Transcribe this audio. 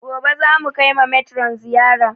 Gobe za mu kai ma metron ziyara